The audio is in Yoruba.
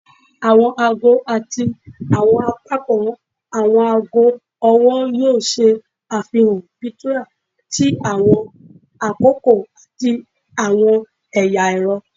Awọn aago ati awọn apakan awọn aago ọwọ yoo ṣe afihan plethora ti awọn akoko ati awọn ẹya ẹrọ